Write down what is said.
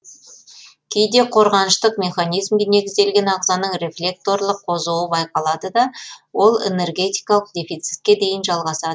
кейде қорғаныштық механизмге негізделген ағзаның рефлекторлық қозуы байқалады да ол энергетикалық дефицитке дейін жалғасады